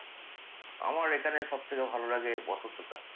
আমার এখানে সবথেকে ভালো লাগে বসন্তটা।